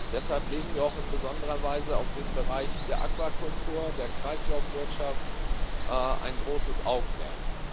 Deshalb legen wir auch in besonderer Weise auf den Bereich der Aquakultur, der Kreislaufwirtschaft ein großes Augenmerk.